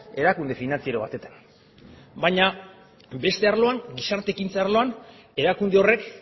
erakunde finantziero batetan baina beste arloan gizarte ekintza arloan erakunde horrek